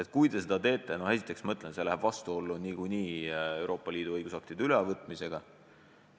Sest kui te seda teete, siis esiteks see läheb vastuollu Euroopa Liidu õigusaktide ülevõtmise protseduuriga.